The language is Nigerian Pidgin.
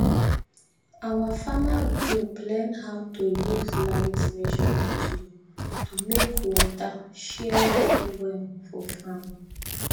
our farmer group learn how to use light measuring tool to make water share well well for farm